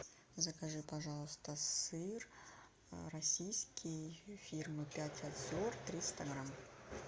закажи пожалуйста сыр российский фирмы пять озер триста грамм